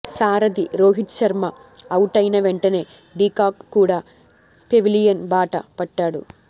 సారథి రోహిత్ శర్మ అవుటైన వెంటనే డికాక్ కూడా పెవిలియన్ బాట పట్టాడు